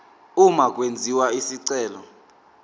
uma kwenziwa isicelo